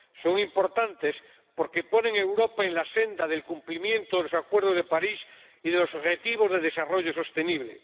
Son importantes porque ponen a Europa en la senda del cumplimiento de los Acuerdos de París y de los Objetivos de Desarrollo Sostenible.